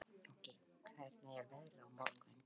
Jónki, hvernig er veðrið á morgun?